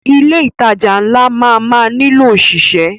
Ilé ìtajà ńlá máa má nílò ọ̀ṣìṣẹ́.